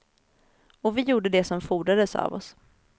Och vi gjorde det som fordrades av oss.